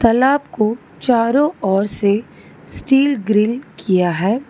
तालाब को चारों ओर से स्टील ग्रिल किया है।